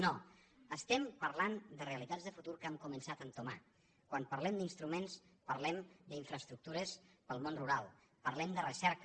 no estem parlant de realitats de futur que hem començat a entomar quan parlem d’instruments parlem d’infraestructures per al món rural parlem de recerca